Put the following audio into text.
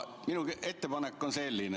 Minu ettepanek on selline.